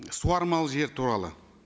суармалы жер туралы